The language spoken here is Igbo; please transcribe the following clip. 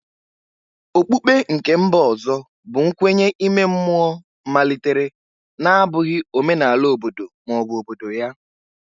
Okpukpe nke mba ọzọ bụ nkwenye ime mmụọ malitere na-abụghị omenala obodo ma ọ bụ obodo ya.